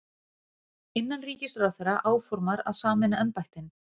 Innanríkisráðherra áformar að sameina embættin